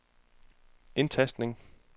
indtastning